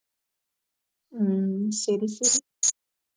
உம் சரி சரி